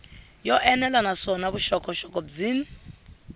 yo enela naswona vuxokoxoko byin